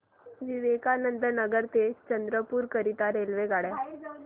विवेकानंद नगर ते चंद्रपूर करीता रेल्वेगाड्या